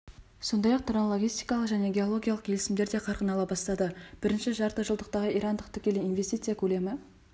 сондай-ақ транлогистикалық және геологиялық келісімдер дә қарқын ала бастады бірінші жартыжылдықтағы ирандық тікелей инвестиция көлемі